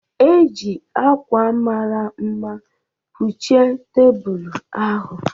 E ji ákwà mara mma kpuchie tebụl ahụ